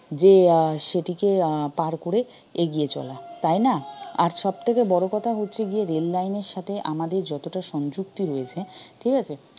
যে আহ সেটিকে আহ পাড় করে এগিয়ে চলা তাই না আর সবথেকে বড় কথা হচ্ছে গিয়ে rail line এর সাথে আমাদের যতটা সংযুক্তি রয়েছে ঠিকাছে